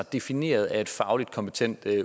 defineret af et fagligt kompetent